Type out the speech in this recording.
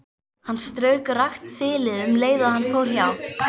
Hann strauk rakt þilið um leið og hann fór hjá.